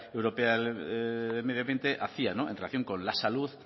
europea de medio ambiente hacía no en relación con la salud